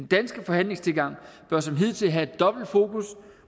danske forhandlingstilgang bør som hidtil have et dobbelt fokus